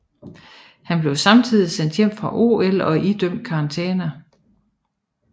Han blev samtidig sendt hjem fra OL og idømt karantæne